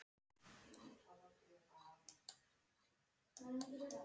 Ragnar seig saman í sætinu.